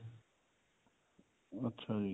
ਅੱਛਾ ਜੀ